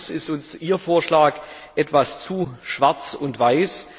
Allerdings ist uns Ihr Vorschlag etwas zu schwarz weiß.